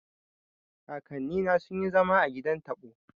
Kakanni na sun yi zama a gidan taɓo